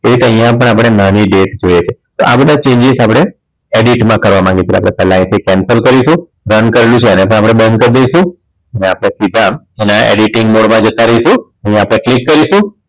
Date પણ અહીંયા આપણે નાની date જોઈએ છે તો આ બધા changes આપણે edit માં કરવા માંગીએ છીએ એટલે પેલા આપણે અહીંથી cancel કરીશું બંધ કરવું છે તો આને પણ આપણે બંધ કરી દઈશું અને આપણે સીધા editing mode માં જતા રહીશું અહીં આપણે click કરીશું